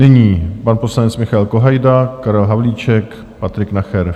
Nyní pan poslanec Michael Kohajda, Karel Havlíček, Patrik Nacher.